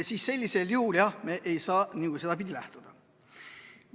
... siis me ei saa nagu sedapidi läheneda.